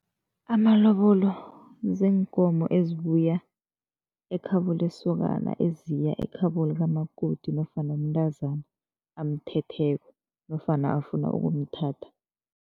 Amalobolo ziinkomo ezibuya ekhabo lesokana eziya ekhabo likamakoti nofana umntazana amthetheko nofana afuna ukumthatha.